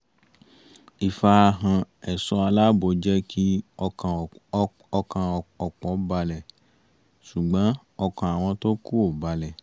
ìfarahàn ẹ̀ṣọ́ aláàbò jẹ́ kí ọkàn ọ̀pọ̀ balẹ̀ ṣùgbọ́n ọkàn àwọn tó kù ò balẹ̀